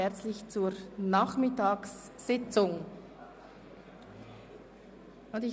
Verzicht auf Streichung des Beitrags an Hünibach.